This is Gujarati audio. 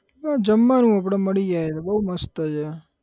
બસ જમવાનું આપડે મળી જાય એટલે બહુ મસ્ત છે.